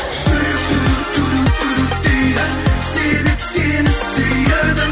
жүрек дейді себеп сені сүйеді